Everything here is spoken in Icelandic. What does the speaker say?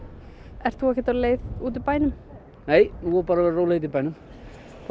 ert þú ekkert á leið út úr bænum nei nú er bara rólegheit í bænum bara